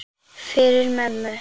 Fyrir mömmu.